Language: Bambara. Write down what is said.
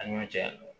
Ani ɲɔ cɛ